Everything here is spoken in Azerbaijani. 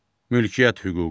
Mülkiyyət hüququ.